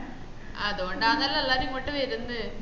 അതോണ്ടാണല്ലോ എല്ലരും ഇങ്ങോട്ട് വെർന്നേ